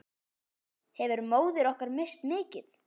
Hefur móðir okkar misst mikið.